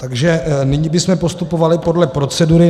Takže nyní bychom postupovali podle procedury.